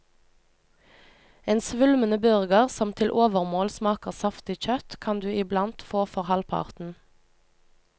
En svulmende burger, som til overmål smaker saftig kjøtt, kan du iblant få for halvparten.